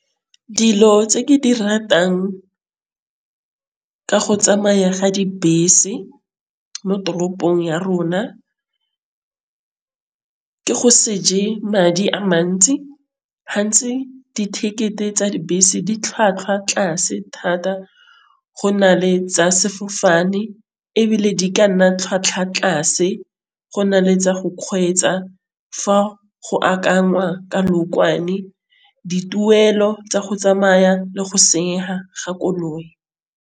Dilo tse ke di ratang ke go tsamaya ga dibese mo toropong ya rona. Ke go se je madi a mantsi, hantsi di-ticket-e tsa dibese di tlhwatlhwa tlase thata go na le tsa sefofane, ebile di ka nna tlhwatlhwa tlase go na le tsa go kgweetsa. Fa go dituelo tsa go tsamaya le go senyega ga koloi.